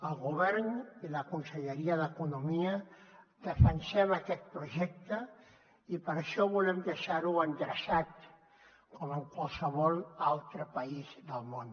el govern i la conselleria d’economia defensem aquest projecte i per això volem deixarho endreçat com en qualsevol altre país del món